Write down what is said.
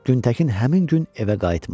Güntəkin həmin gün evə qayıtmadı.